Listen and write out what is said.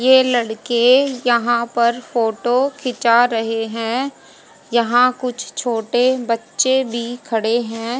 ये लड़के यहां पर फोटो खींचा रहे हैं यहां कुछ छोटे बच्चे भी खड़े हैं।